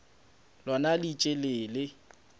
lona le ntše le le